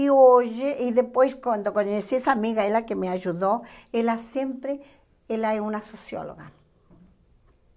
E hoje, e depois quando conheci essa amiga, ela que me ajudou, ela sempre, ela é uma socióloga.